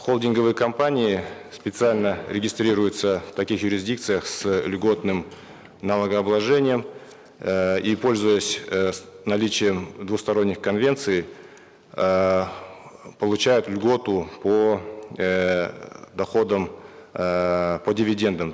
холдинговые компании специально регистрируются в таких юрисдикциях с льготным налогообложением эээ и пользуясь э наличием двусторонних конвенций эээ получают льготу по эээ доходам эээ по дивидендам